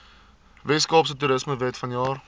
weskaapse toerismewet vanjaar